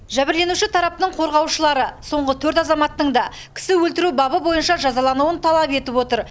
жәбірленуші тарапының қорғаушылары соңғы төрт азаматтың да кісі өлтіру бабы бойынша жазалануын талап етіп отыр